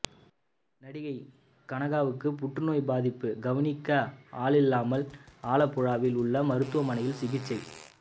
நடிகை கனகாவுக்கு புற்றுநோய் பாதிப்பு கவனிக்க ஆளில்லாமல் ஆலப்புழாவில் உள்ள மருத்துவமனையில் சிகிச்சை